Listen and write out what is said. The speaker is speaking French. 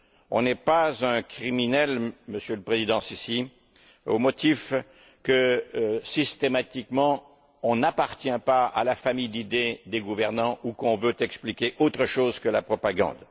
On n'est pas un criminel, Monsieur le président al Sissi, aux motifs que, systématiquement, on n'appartient pas à la famille d'idées des gouvernants ou qu'on veut expliquer autre chose que la propagande.